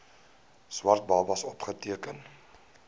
swart babas opgeteken